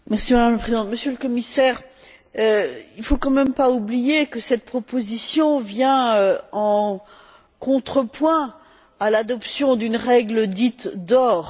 Madame la Présidente, Monsieur le Commissaire, il ne faut tout de même pas oublier que cette proposition vient en contrepoint de l'adoption d'une règle dite d'or.